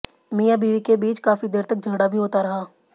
मियां बीवी के बीच काफी देर तक झगड़ा भी होता रहा